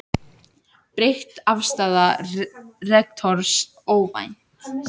Breytt afstaða rektors óvænt